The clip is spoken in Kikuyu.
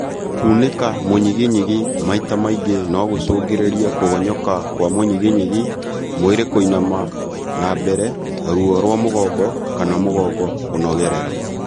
Kunĩka mũnyiginyigi maita maingĩ nogũcũngĩrĩrie kũgonyoka kwa mũnyiginyigi, mwĩrĩ kũinama na mbere , ruo rwa mũgongo kana mũgongo kũnogerera